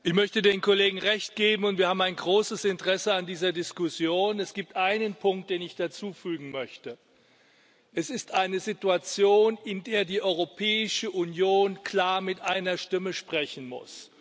Herr Präsident! Ich möchte den Kollegen Recht geben, und wir haben ein großes Interesse an dieser Diskussion. Es gibt einen Punkt, den ich hinzufügen möchte Es ist eine Situation, in der die Europäische Union klar mit einer Stimme sprechen muss.